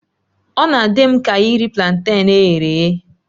Ọ na-adị m ka iri planten e ghere eghe